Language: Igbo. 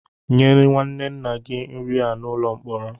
Nye nwanne nna gị nri a n'ụlọ mkpọrọ!